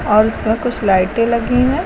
और इसमें कुछ लाइटें लगी हैं।